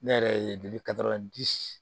Ne yɛrɛ ye deli ka di